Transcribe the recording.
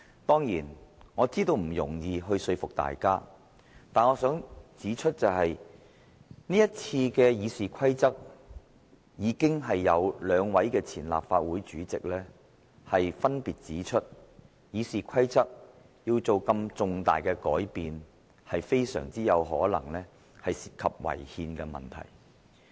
當然，我知道要說服大家並不容易，但我想指出，就這次對《議事規則》的修訂，已有兩位前立法會主席分別表示，《議事規則》如要作出這麼重大的改變，非常有可能涉及違憲的問題。